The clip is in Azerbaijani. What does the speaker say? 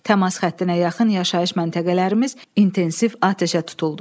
Təmas xəttinə yaxın yaşayış məntəqələrimiz intensiv atəşə tutuldu.